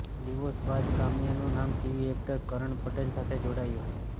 divorce બાદ કામ્યાનું નામ ટીવી એક્ટર કરન પટેલ સાથે જોડાયું હતું